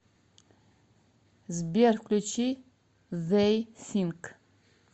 сбер включи зей синк